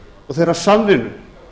og þeirrar samvinnu